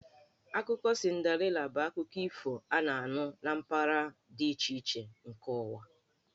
Akụkọ Cinderella bụ akụkọ ifo a na-anụ na mpaghara dị iche iche nke ụwa.